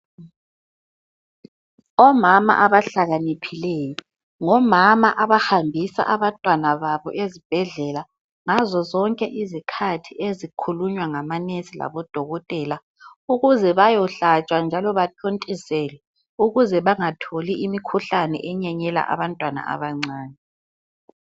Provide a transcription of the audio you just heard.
Omama abahlakaniphileyo ngomama abahambisa abantwana babo ezibhedlela ngazozonke izikhathi ezikhulunywa ngamanesi labodokotela ukuze bayohlatshwa njalo bathontiselwe ukuze bangatholi imikhuhlane enyenyela abantwana abancane.